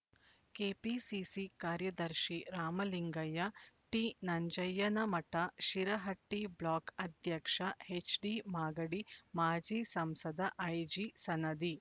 KPCC ಕಾರ್ಯದರ್ಶಿ Ramalingaiah T Nanjayyanamath Shirahatti block ಅಧ್ಯಕ್ಷ ಎಚ್ಡಿಮಾಗಡಿ ಮಾಜಿ ಸಂಸದ ಐಜಿ ಸನದಿ